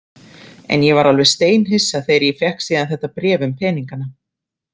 En ég var alveg steinhissa þegar ég fékk síðan þetta bréf um peningana.